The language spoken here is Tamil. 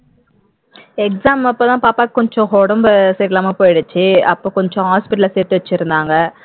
exam அப்போ தான் பாப்பாவுக்கு கொஞ்சம் உடம்பு சரியில்லாமல் போயிடுச்சு அப்போ கொஞ்சம் hospital ல சேர்த்து வச்சிருந்தாங்க